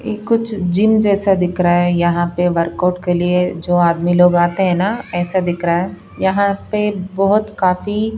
कुछ जिम जैसा दिख रहा है यहाँ पे वर्कआउट के लिए जो आदमी लोग आते हैं ना ऐसा दिख रहा है यहाँ पे बहुत काफी--